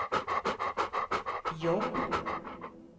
jobb